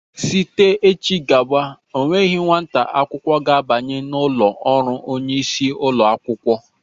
Zite echi gawa ọ nweghị nwa akwụkwọ ga-abanye n'ụlọ ọrụ onyeisi ụlọ akwụkwọ!